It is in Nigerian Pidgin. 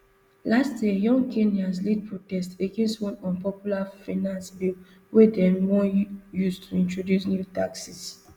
last year young kenyans lead protest against one unpopular finance bill wey dem wan use to introduce new taxes